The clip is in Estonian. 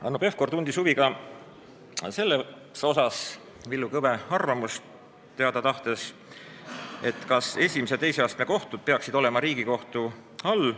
Hanno Pevkur tundis huvi ja tahtis teada Villu Kõve arvamust selle kohta, kas esimese ja teise astme kohtud peaksid olema Riigikohtu all.